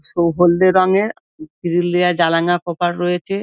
সব হলদে রঙের গ্রিল দেওয়া জানালা কপাট রয়েছে ।